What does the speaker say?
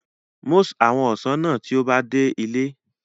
Mus awon osan naa ti o ba de ile